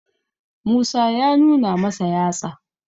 musa ya nuna masa yatsa